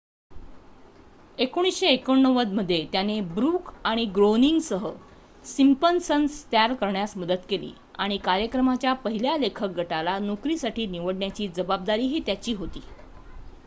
१९८९ मध्ये त्याने ब्रूक आणि ग्रोअनिंगसह सिम्पसन्स तयार करण्यात मदत केली आणि कार्यक्रमाच्या पहिल्या लेखक गटाला नोकरीसाठी निवडण्याची जबाबदारीही त्याची होती